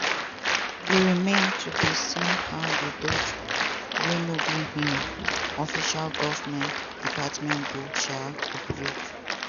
e remain to dey seen how di doge – wey no be um official govment department go um operate.